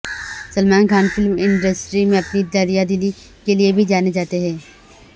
Salman Khan film industry میں اپنی دریا دلی کے لیے بھی جانے جاتے ہیں